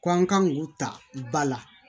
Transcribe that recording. Ko an kan k'u ta ba la